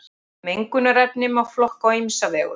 Mengunarefni má flokka á ýmsa vegu.